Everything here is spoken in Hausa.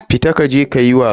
Fita kaje kayi wasa.